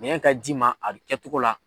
Minɛn ka d'i ma a kɛcogo la.